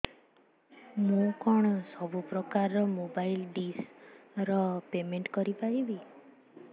ମୁ କଣ ସବୁ ପ୍ରକାର ର ମୋବାଇଲ୍ ଡିସ୍ ର ପେମେଣ୍ଟ କରି ପାରିବି